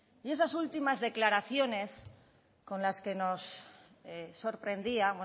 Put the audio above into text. y esas últimas declaraciones con las que nos sorprendía